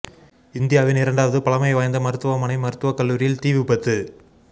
இந்தியாவின் இரண்டாவது பழமை வாய்ந்த மருத்துவமனை மருத்துவக் கல்லூரியில் தீ விபத்து